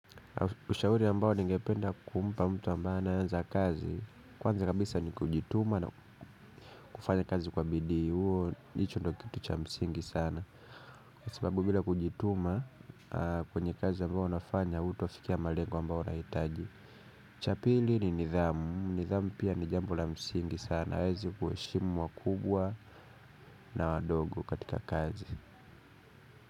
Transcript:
Ushauri ambao ningependa kumpa mtu ambaye anaanza kazi. Kwanza kabisa ni kujituma na kufanya kazi kwa bidii huo hicho ndo kitu cha msingi sana. Kwa sababu bila kujituma kwenye kazi ambayo unafanya hutofikia malengo ambao unahitaji. Cha pili ni nidhamu. Nidhamu pia ni jambo la msingi sana aweze kuheshimu wakubwa na wadogo katika kazi.